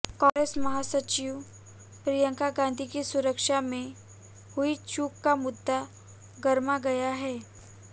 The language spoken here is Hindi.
कांग्रेस महासचिव प्रियंका गांधी की सुरक्षा में हुई चूक का मुद्दा गरमा गया है